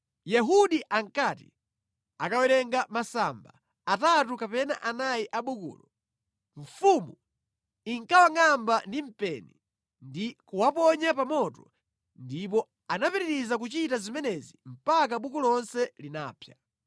Yehudi ankati akawerenga masamba atatu kapena anayi a bukulo, mfumu inkawangʼamba ndi mpeni ndi kuwaponya pa moto ndipo anapitiriza kuchita zimenezi mpaka buku lonse linapsa.